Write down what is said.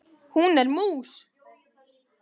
Hún er mús.